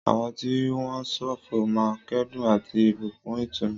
Àwọn tí wọ́n ń ṣọ̀fọ̀ máa ń kẹ́dùn àti ìbùkún ìtùnú.